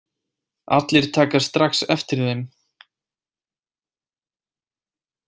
Allir taka strax eftir þeim.